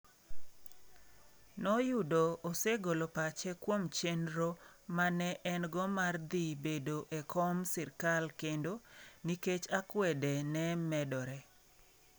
Noyudo osegolo pache kuom chenro ma ne en - go mar dhi bedo e kom - sirkal kendo, nikech akwede ne medore.